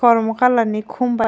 kormo colour ni khum bai.